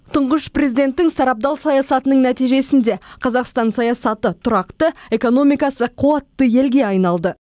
тұңғыш президенттің сарабдал саясатының нәтижесінде қазақстан саясаты тұрақты экономикасы қуатты елге айналды